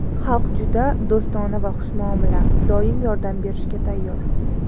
Xalqi juda do‘stona va xushmuomala, doim yordam berishga tayyor.